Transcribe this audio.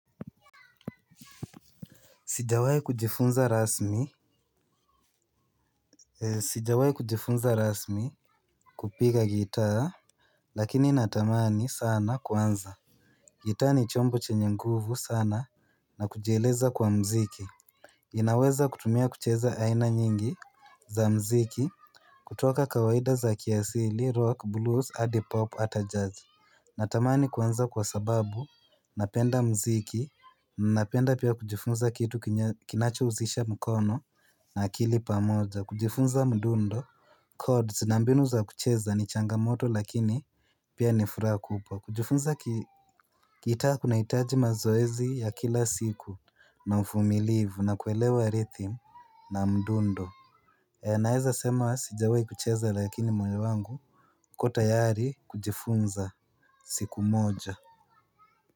Sijawahi kujifunza rasmi. Sijawai kujifunza rasmi. Kupiga gitaa lakini natamani sana kuanza. Gitaa ni chombo chenye nguvu sana na kujieleza kwa muziki. Inaweza kutumia kucheza aina nyingi za muziki kutoka kawaida za kiasili rock blues hadi pop hata jazz. Natamani kuanza kwa sababu napenda muziki. Napenda pia kujifunza kitu kinacho husisha mkono na akili pamoja kujifunza mdundo cods na mbinu za kucheza ni changamoto lakini, pia ni furaha kubwa kujifunza. Gitaa kunahitaji mazoezi ya kila siku na uvumilivu na kuelewa rhythm na mdundo. Naeza sema sijawahi kucheza lakini moyo wangu uko tayari kujifunza siku moja.